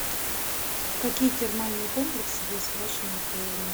какие термальные комплексы есть в вашем отеле